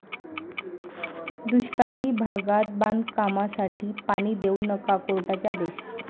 दुष्काळीभागात बांधकामांसाठी पाणी देऊ नका, कोर्टाचे आदेश